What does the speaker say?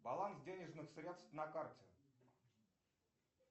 баланс денежных средств на карте